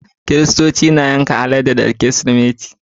Kiristoci na yanka alade da kirismeti